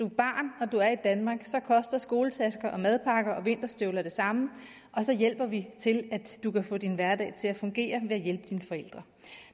et barn og du er i danmark så koster skoletasker madpakker og vinterstøvler det samme og så hjælper vi til at du kan få din hverdag til at fungere ved at hjælpe dine forældre